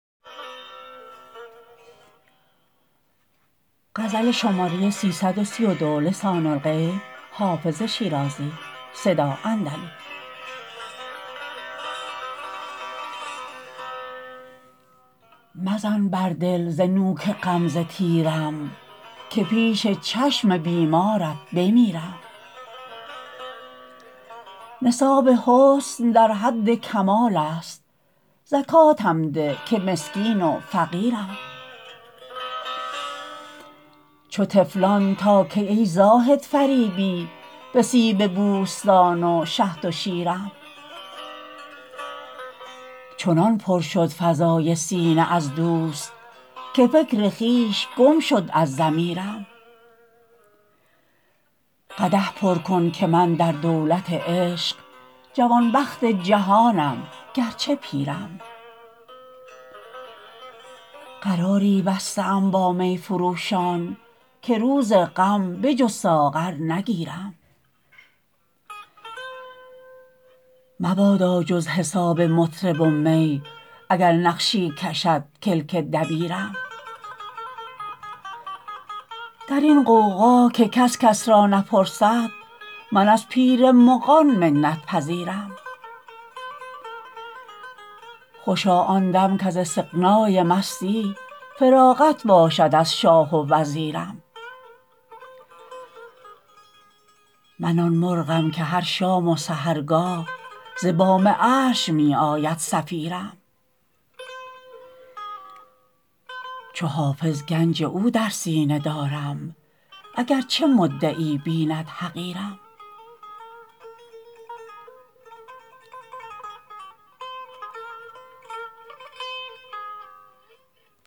مزن بر دل ز نوک غمزه تیرم که پیش چشم بیمارت بمیرم نصاب حسن در حد کمال است زکاتم ده که مسکین و فقیرم چو طفلان تا کی ای زاهد فریبی به سیب بوستان و شهد و شیرم چنان پر شد فضای سینه از دوست که فکر خویش گم شد از ضمیرم قدح پر کن که من در دولت عشق جوانبخت جهانم گرچه پیرم قراری بسته ام با می فروشان که روز غم به جز ساغر نگیرم مبادا جز حساب مطرب و می اگر نقشی کشد کلک دبیرم در این غوغا که کس کس را نپرسد من از پیر مغان منت پذیرم خوشا آن دم کز استغنای مستی فراغت باشد از شاه و وزیرم من آن مرغم که هر شام و سحرگاه ز بام عرش می آید صفیرم چو حافظ گنج او در سینه دارم اگرچه مدعی بیند حقیرم